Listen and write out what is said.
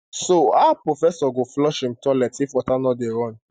so how professor go flush im toilet if water no dey run